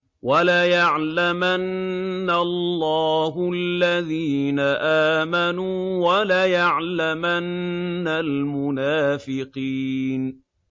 وَلَيَعْلَمَنَّ اللَّهُ الَّذِينَ آمَنُوا وَلَيَعْلَمَنَّ الْمُنَافِقِينَ